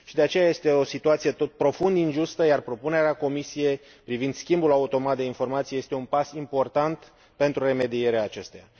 De aceea este o situație profund injustă, iar propunerea Comisiei privind schimbul automat de informații este un pas important pentru remedierea acesteia.